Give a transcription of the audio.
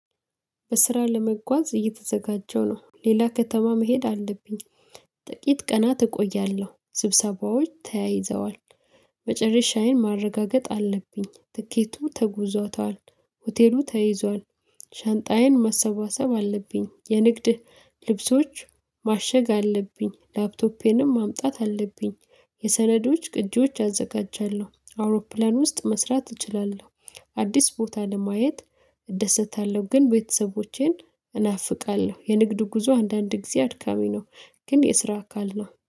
በስራ ለመጓዝ እየተዘጋጀሁ ነው ሌላ ከተማ መሄድ አለብኝ ጥቂት ቀናት እቆያለሁ ስብሰባዎች ተያይዘዋል። መጨረሻዬን ማረጋገጥ አለብኝ፤ ትኬቱ ተጉዞታል ሆቴሉ ተይዟል። ሻንጣዬን ማሰባሰብ አለብኝ የንግድ ልብሶች ማሸግ አለብኝ ላፕቶፔንም ማምጣት አለብኝ። የሰነዶች ቅጂዎች አዘጋጃለሁ አውሮፕላን ውስጥ መስራት እችላለሁ። አዲስ ቦታ ለማየት እደሰታለሁ ግን ቤተሰቦቼን እናፍቃለሁ የንግድ ጉዞ አንዳንድ ጊዜ አድካሚ ነው። ግን የስራ አካል ነው